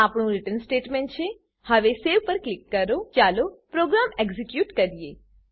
આ આપણું return statement છે હવે સવે પર ક્લિક કરો ચાલો પ્રોગ્રામ એક્ઝીક્યુટ કરીએ